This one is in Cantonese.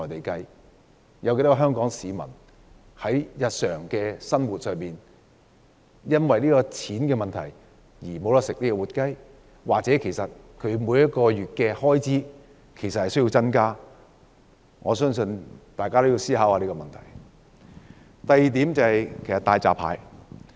究竟有多少香港市民在日常生活因為價錢問題而不能吃活雞，或他們每月的開支需要增加多少才能負擔吃活雞？